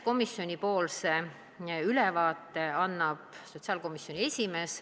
Komisjonipoolse ülevaate annab sotsiaalkomisjoni esimees.